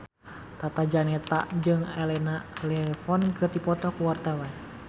Tata Janeta jeung Elena Levon keur dipoto ku wartawan